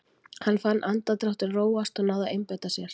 Hann fann andardráttinn róast og náði að einbeita sér.